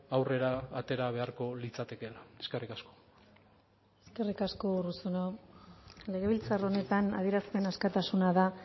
aurrera atera beharko litzatekeela eskerrik asko eskerrik asko urruzuno legebiltzar honetan adierazpen askatasuna da